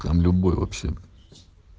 там любой вообще